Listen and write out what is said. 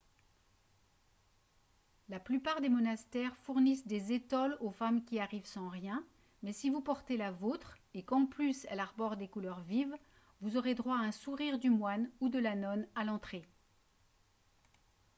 la plupart des monastères fournissent des étoles aux femmes qui arrivent sans rien mais si vous apportez la vôtre et qu'en plus elle arbore des couleurs vives vous aurez droit à un sourire du moine ou de la nonne à l'entrée